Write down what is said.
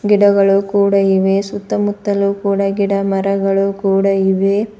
ಗಿಡಗಳು ಕೂಡ ಇವೆ ಸುತ್ತಮುತ್ತಲು ಕೂಡ ಗಿಡ ಮರಗಳು ಕೂಡ ಇವೆ.